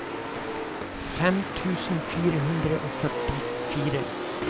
fem tusen fire hundre og førtifire